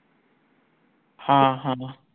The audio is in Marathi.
हां हान